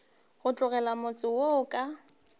go tlogela motse wo ka